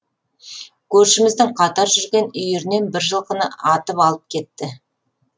көршіміздің қатар жүрген үйірінен бір жылқыны атып алып кетті